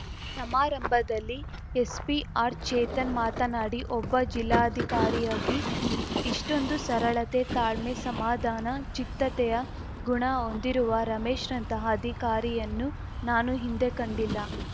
ಸಮಾರಂಭದಲ್ಲಿ ಎಸ್ಪಿ ಆರ್‌ಚೇತನ್‌ ಮಾತನಾಡಿ ಒಬ್ಬ ಜಿಲ್ಲಾಧಿಕಾರಿಯಾಗಿ ಇಷ್ಟೊಂದು ಸರಳತೆ ತಾಳ್ಮೆ ಸಮಾಧಾನ ಚಿತ್ತತೆಯ ಗುಣ ಹೊಂದಿರುವ ರಮೇಶ್‌ರಂತಹ ಅಧಿಕಾರಿಯನ್ನು ನಾನು ಹಿಂದೆ ಕಂಡಿಲ್ಲ